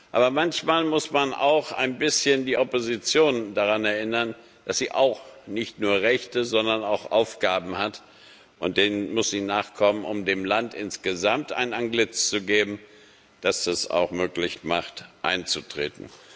Aber manchmal muss man auch die Opposition ein bisschen daran erinnern, dass sie auch nicht nur Rechte, sondern auch Aufgaben hat, und denen muss sie nachkommen, um dem Land insgesamt ein Antlitz zu geben, das es auch möglich macht, einzutreten.